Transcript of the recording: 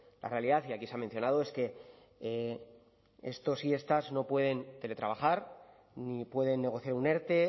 la realidad y aquí se ha mencionado es que estos y estas no pueden teletrabajar ni pueden negociar un erte